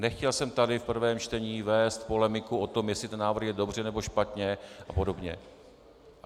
Nechtěl jsem tady v prvém čtení vést polemiku o tom, jestli ten návrh je dobře, nebo špatně a podobně.